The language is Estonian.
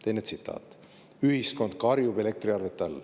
" Teine tsitaat: "Ühiskond karjub elektriarvete all.